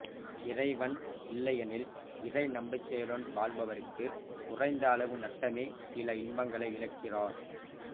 இறைவன் இல்லையெனில் இறை நம்பிக்கையுடன் வாழ்பவருக்கு குறைந்த அளவு நட்டமே சில இன்பங்களை இழக்கிறார்